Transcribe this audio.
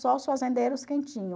Só os fazendeiros quem tinham.